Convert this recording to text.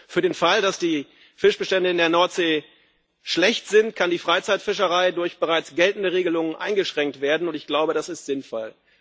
Für den Fall, dass die Fischbestände in der Nordsee schlecht sind, kann die Freizeitfischerei durch bereits geltende Regelungen eingeschränkt werden, und ich glaube, das ist sinnvoll.